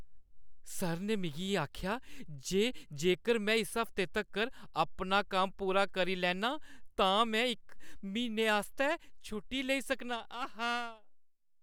Sir ने मिगी आखेआ जे जेकर में इस हफ्ते तक्कर अपना कम्म पूरा करी लैन्नां तां में इक म्हीने आस्तै छुट्टी लेई सकनां, आहा!